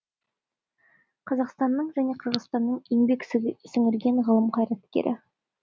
қазақстанның және қырғызстанның еңбек сіңірген ғылым қайраткері